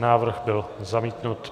Návrh byl zamítnut.